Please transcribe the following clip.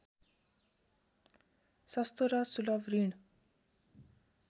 सस्तो र सुलभ ऋण